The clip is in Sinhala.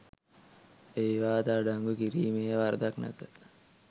ඒවාද අඩංගු කිරීමේ වරදක් නැත.